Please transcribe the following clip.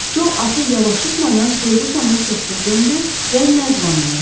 Co atı yavaşıtmadan Ferqusonun səsinə döndü və nərdivandan yapışdı.